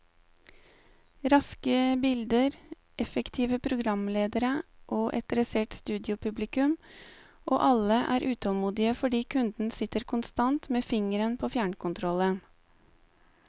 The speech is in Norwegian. Raske bilder, effektive programledere og et dressert studiopublikum, og alle er utålmodige fordi kunden sitter konstant med fingeren på fjernkontrollen.